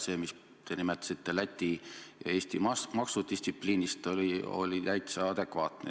See, mis te ütlesite Läti ja Eesti maksudistsipliini kohta, oli täitsa adekvaatne.